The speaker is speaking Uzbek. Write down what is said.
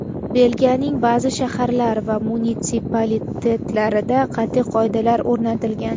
Belgiyaning ba’zi shaharlar va munitsipalitetlarida qat’iy qoidalar o‘rnatilgan.